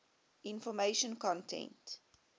information content